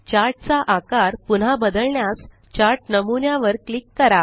chart चा आकार पुन्हा बदलण्यास चार्ट नमुन्या वर क्लिक करा